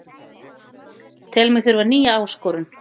Tel mig þurfa nýja áskorun